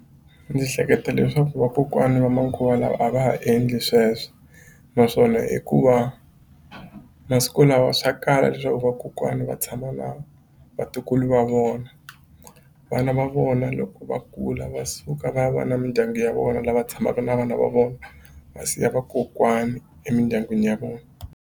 Ndzi hleketa leswaku vakokwani va manguva lawa a va ha endli sweswo naswona hikuva masiku lawa swa kala leswaku vakokwana va tshama na vatukulu va vona vana va vona loko va kula va suka va va na mindyangu ya vona lava tshamaka na vana va vona va siya vakokwani emindyangwini ya vona.